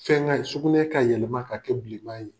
Fɛn ŋa ye sugunɛ ka yɛlɛma k'a kɛ bileman ye.